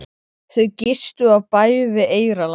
Marlís, heyrðu í mér eftir tuttugu og sjö mínútur.